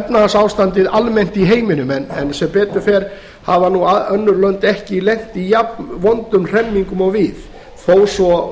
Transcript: efnahagsástandið almennt í heiminum en sem betur fer hafa önnur lönd ekki lent í jafnvondum hremmingum og við þó svo